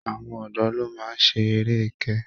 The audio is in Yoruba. Àwọn ọ̀dọ́ ló máa ń ṣe eré ẹkẹ